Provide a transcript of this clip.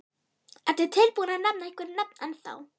Ertu tilbúinn að nefna einhver nöfn ennþá?